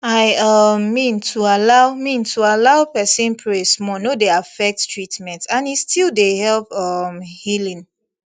i um mean to allow mean to allow person pray small no dey affect treatment and e still dey help um healing